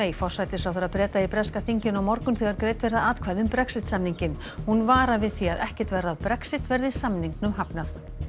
forsætisráðherra Breta í breska þinginu á morgun þegar greidd verða atkvæði um Brexit samninginn hún varar við því að ekkert verði af Brexit verði samningnum hafnað